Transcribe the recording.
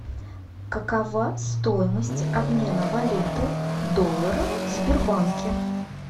какова стоимость обмена валюты доллара в сбербанке